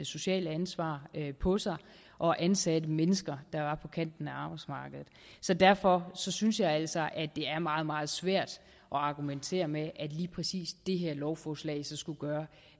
sociale ansvar på sig og ansatte mennesker der var på kanten af arbejdsmarkedet derfor synes jeg altså det er meget meget svært at argumentere med at lige præcis det her lovforslag skulle gøre